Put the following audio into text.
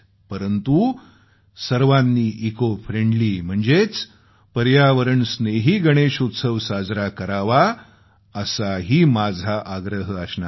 परंतु सर्वांनी इकोफ्रेंडली म्हणजेच पर्यावरण स्नेही गणेश उत्सव साजरा करावा असाही माझा आग्रह असणार आहे